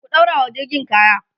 ku ɗaurawa jirgin kaya!